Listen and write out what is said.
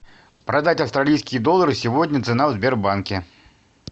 продать австралийские доллары сегодня цена в сбербанке